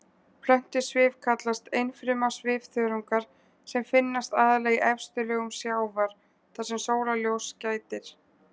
Plöntusvif kallast einfruma svifþörungar sem finnast aðallega í efstu lögum sjávar þar sem sólarljóss gætir.